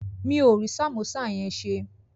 Mi ò rí sàmósà yẹn ṣe